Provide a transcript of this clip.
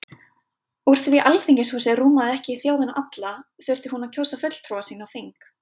Úr því Alþingishúsið rúmaði ekki þjóðina alla, þurfti hún að kjósa fulltrúa sína á þing.